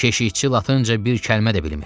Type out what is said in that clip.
Keşikçi latınca bir kəlmə də bilmir.